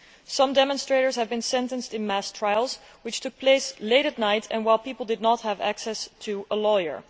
Some demonstrators have been sentenced in mass trials which took place late at night and while people did not have access to a lawyer.